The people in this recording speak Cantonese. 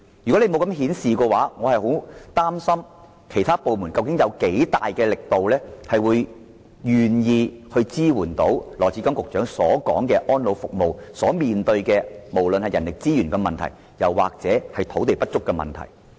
如果政府沒有這樣做，我不知其他部門會以多大力度支援羅局長所說安老服務面對的人力資源和土地不足問題。